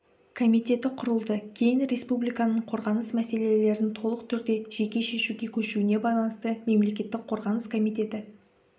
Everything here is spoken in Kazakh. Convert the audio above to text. комитеті құрылды кейін республиканың қорғаныс мәселелерін толық түрде жеке шешуге көшуіне байланысты мемлекеттік қорғаныс комитеті